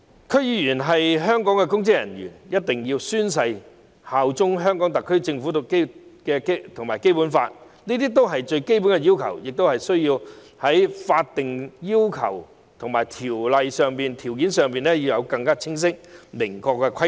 區議員是香港的公職人員，必須宣誓效忠香港特區政府和《基本法》，這些都是最基本的要求，必須在有關法例訂定更清晰、更明確的規定。